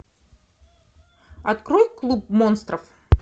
открой клуб монстров